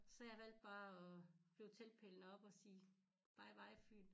Så jeg valge bare at flå teltpælene op og sige bye bye Fyn